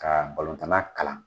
Ka balontanna kalan.